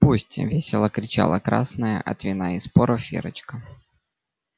пусть весело кричала красная от вина и споров верочка